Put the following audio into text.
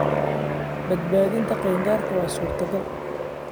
Badbaadinta qaangaarka waa suurtagal.